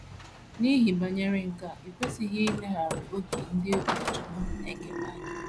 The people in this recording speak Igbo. N’ihe banyere nke a, e kwesịghị ileghara òkè ndị ụkọchukwu na - ekere anya.